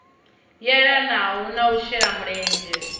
yelanaho na u shela mulenzhe